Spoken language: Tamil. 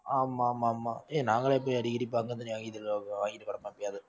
ஆமா ஆமா ஆமா ஏன் நாங்களே போய் அடிக்கடி முடியாது